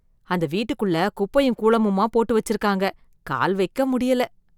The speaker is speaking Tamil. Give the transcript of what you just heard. அந்த வீட்டுக்குள்ள குப்பையும் கூளமுமா போட்டு வச்சிருக்காங்க! கால் வைக்க முடியல.